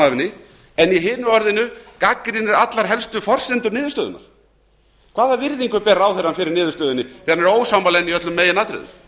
henni en í hinu orðinu gagnrýnir allar helstu forsendur niðurstöðunnar hvaða virðingu ber ráðherrann fyrir niðurstöðunni þegar hann er ósammála henni í öllum meginatriðum